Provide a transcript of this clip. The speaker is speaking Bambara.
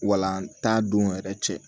Walant'a don yɛrɛ cɛ